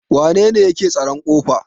wanene yake tsaron ƙofa?